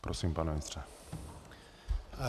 Prosím, pane ministře.